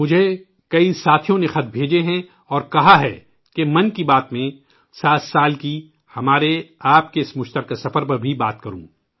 مجھے کئی ساتھیوں نے خط ارسال کیے ہیں اور کہا ہے کہ 'من کی بات' میں 7 سال کے ہمارے آپ کے اس مشترکہ سفر کا بھی ذکر کروں